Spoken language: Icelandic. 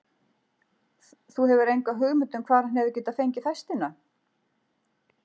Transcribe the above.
Þú hefur enga hugmynd um það hvar hann hefur getað fengið festina?